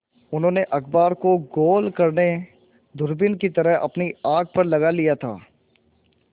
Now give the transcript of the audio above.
उन्होंने अखबार को गोल करने दूरबीन की तरह अपनी आँख पर लगा लिया था